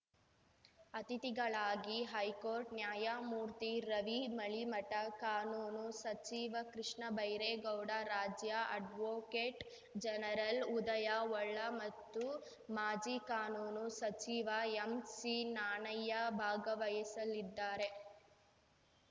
ಅತಿಥಿಗಳಾಗಿ ಹೈಕೋರ್ಟ್‌ ನ್ಯಾಯಮೂರ್ತಿ ರವಿ ಮಳಿಮಠ ಕಾನೂನು ಸಚಿವ ಕೃಷ್ಣಬೈರೇಗೌಡ ರಾಜ್ಯ ಅಡ್ವೋಕೇಟ್‌ ಜನರಲ್‌ ಉದಯ ಹೊಳ್ಳ ಮತ್ತು ಮಾಜಿ ಕಾನೂನು ಸಚಿವ ಎಂಸಿನಾಣಯ್ಯ ಭಾಗವಹಿಸಲಿದ್ದಾರೆ